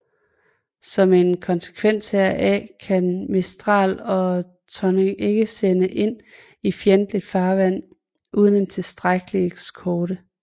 Som en konsekvens heraf kan Mistral og Tonnerre ikke sendes ind i fjendtligt farvand uden en tilstrækkelig eskorte